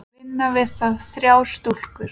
Vinna við það þrjár stúlkur.